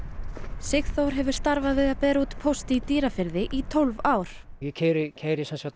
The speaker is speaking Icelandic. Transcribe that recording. Sigþór hefur starfað við að bera út póst í Dýrafirði í tólf ár ég keyri keyri semsagt